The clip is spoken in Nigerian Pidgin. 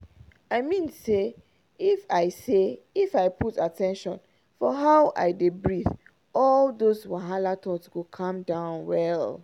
i mean say if i say if i put at ten tion for how i dey breathe all those wahala thoughts go calm down well.